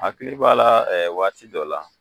Akili b'a la waati dɔ la.